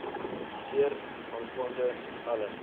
publiseer aangaande alle